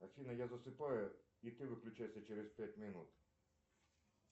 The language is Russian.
афина я засыпаю и ты выключайся через пять минут